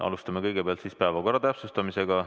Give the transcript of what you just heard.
Alustame kõigepealt päevakorra täpsustamisega.